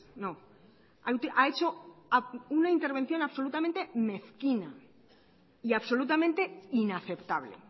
no ha hecho una intervención absolutamente mezquina y absolutamente inaceptable